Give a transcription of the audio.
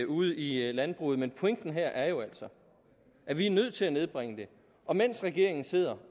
ude i landbruget men pointen her er jo altså at vi er nødt til at nedbringe det og mens regeringen sidder